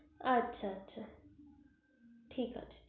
আচ্ছা আচ্ছা ঠিক আছে